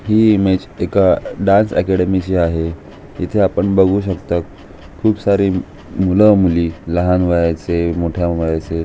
ही image एका dance academy ची आहे. इथे आपण बगु शकतो. खूप सारे मुला मुली लहान वयाचे मोठ्या वयाचे--